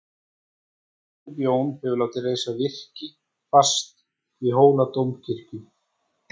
Biskup Jón hefur látið reisa virki fast við Hóladómkirkju.